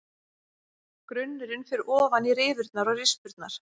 Grunnurinn fer ofan í rifurnar og rispurnar.